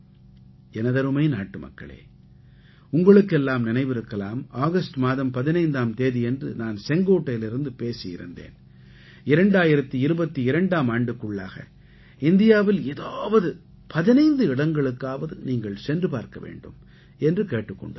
எனதருமை நாட்டுமக்களே உங்களுக்கெல்லாம் நினைவிருக்கலாம் ஆகஸ்ட் மாதம் 15ஆம் தேதியன்று நான் செங்கோட்டையிலிருந்து பேசியிருந்தேன் 2022ஆம் ஆண்டுக்குள்ளாக இந்தியாவில் ஏதாவது 15 இடங்களுக்காவது நீங்கள் சென்று பார்க்க வேண்டும் என்று கேட்டுக் கொண்டிருந்தேன்